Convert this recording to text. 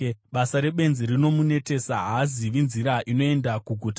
Basa rebenzi rinomunetesa; haazivi nzira inoenda kuguta.